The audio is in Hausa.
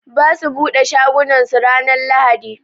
Ɓasu ɓude shagunan su ranan lahaɗi.